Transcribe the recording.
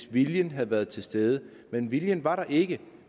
viljen havde været til stede men viljen var der ikke